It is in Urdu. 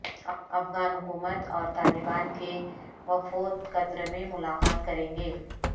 افغان حکومت اور طالبان کے وفود قطر میں ملاقات کریں گے